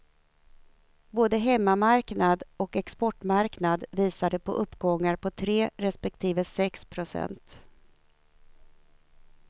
Både hemmamarknad och exportmarknad visade på uppgångar på tre respektive sex procent.